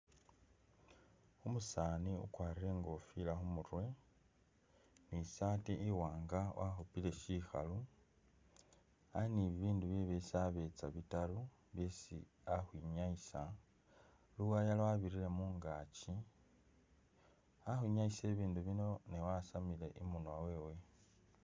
Umusani ukwarire ingofila khumurwe, ni sati iwanga wakhupile shikhalu, ali ni bibindu bye byesi abetsa bitaru byesi ali khukhwinyayisa, luwaya lwabirire mungakyi, ali ukwinyayisa ibindu bino ne wasamile imunwa wewe.